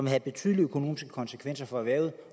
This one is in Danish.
have betydelige økonomiske konsekvenser for erhvervet